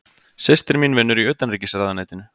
Systir mín vinnur í Utanríkisráðuneytinu.